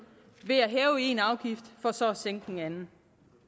ved at hæve en afgift for så at sænke en anden